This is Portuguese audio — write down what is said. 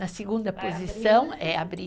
Na segunda posição é abrir...